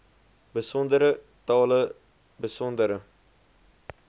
besondere tale besondere